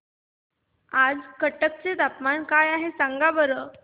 आज कटक चे तापमान काय आहे सांगा बरं